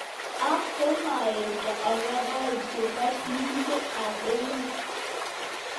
Ak komaishen ogoraik chepo plishek ap emet.